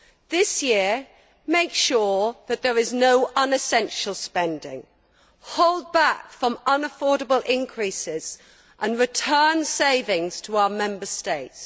This year, make sure that there is no unessential spending, hold back from unaffordable increases and return savings to our Member States.